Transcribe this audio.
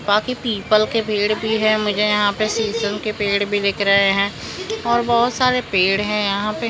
बाकी पीपल के पेड़ भी है मुझे यहां पे सीसम के पेड़ भी दिख रहे हैं और बहोत सारे पेड़ है यहां पे--